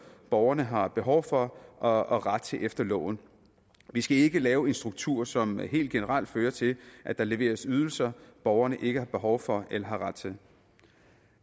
borgerne har behov for og og ret til efter loven vi skal ikke lave en struktur som helt generelt fører til at der leveres ydelser borgerne ikke har behov for eller ret til